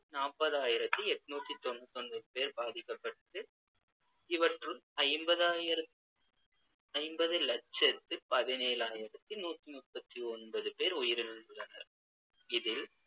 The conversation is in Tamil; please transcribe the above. நாற்பதாயிரத்தி எண்நூத்தி தொண்ணூத்து ஒன்பது பேர் பாதிக்கப்பட்டு இவற்றுள் ஐம்பது ஆயிரத்து ஐம்பது லட்சத்து பதினேழாயிரத்தி நூத்தி முப்பத்தி ஒன்பது பேர் உயிரிழந்துள்ளனர் இதில்